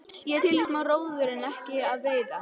Ég er til í smá róður en ekki að veiða.